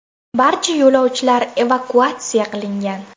Barcha yo‘lovchilar evakuatsiya qilingan.